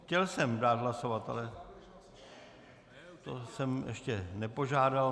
Chtěl jsem dát hlasovat, ale to jsem ještě nepožádal.